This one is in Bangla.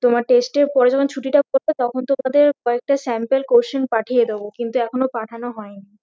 তোমার test এর পরে যখন ছুটিটা পরবে তখন তোমাদের কয়েকটা sample question পাঠিয়ে দেব কিন্তু এখনো পাঠানো হয়নি